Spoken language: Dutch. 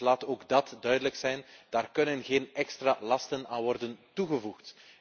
Dus laat ook dat duidelijk zijn daaraan kunnen geen extra lasten worden toegevoegd.